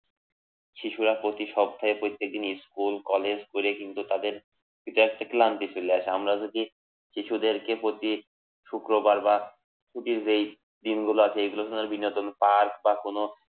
শিশুরা প্রতি সপ্তাহের প্রতীক জিনিস ফুল করে কলেজ করে কিন্তু তাদের একটা ক্লান্তি চলে আসে আমরা যে শিশুদেরকে উপর দিয়ে শুক্রবার বা ছুটির যে দিনগুলো আছে এগুলোকে বিনোদন পার্ক বা কোন